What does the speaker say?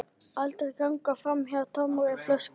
Aldrei ganga framhjá tómri flösku.